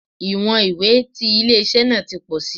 Iwọn iwe ti ile-iṣẹ naa ti pọ si